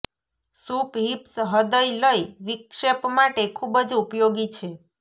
soup hips હૃદય લય વિક્ષેપ માટે ખૂબ જ ઉપયોગી છે